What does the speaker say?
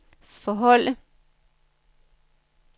forholde